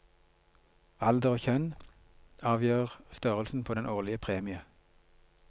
Alder og kjønn avgjør størrelsen på den årlig premie.